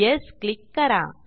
yes click करा